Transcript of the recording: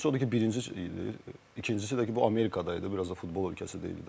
Birincisi odur ki, birinci, ikincisi də ki, bu Amerikadaydı, biraz da futbol ölkəsi deyil idi.